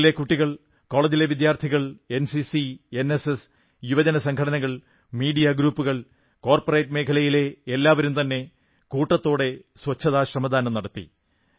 സ്കൂളുകളിലെ കുട്ടികൾ കോളജിലെ വിദ്യാർഥികൾ എൻസിസി എൻഎസ്എസ് യുവജനസംഘടനകൾ മീഡിയ ഗ്രൂപ്പുകൾ കോർപ്പറേറ്റ് മേഖലയിലെ എല്ലാവരും തന്നെ കൂട്ടത്താടെ സ്വച്ഛതാ ശ്രമദാനം നടത്തി